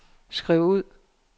skriv ud